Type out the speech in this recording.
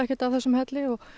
þessum helli og